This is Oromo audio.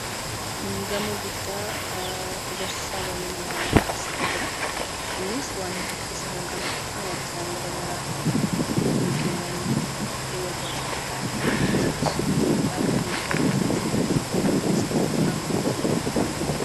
Gamoo guddaa ijaarsi isaa baay'ee nama hawwatutu asirra jiraa. Innis waan hedduu of keessaa kan qabatudha. Waajjiraalee garaagaraa, iddoo suuqiiwwanii, iddoo waltajjii itti taa'an akkasumas hoteelotaa fi reestoraantii of keessatti hammatee kan jirudha.